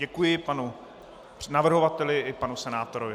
Děkuji panu navrhovateli i panu senátorovi.